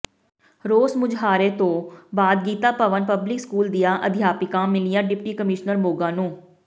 ਰੋਸ ਮੁਜ਼ਾਹਰੇ ਤੋਂ ਬਾਅਦ ਗੀਤਾ ਭਵਨ ਪਬਲਿਕ ਸਕੂਲ ਦੀਆਂ ਅਧਿਆਪਕਾਂ ਮਿਲੀਆਂ ਡਿਪਟੀ ਕਮਿਸ਼ਨਰ ਮੋਗਾ ਨੂੰ